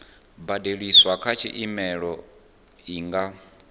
badeliswaho kha tshumelo i nga